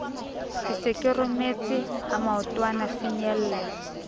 ke se rometse ha maotwanafinyella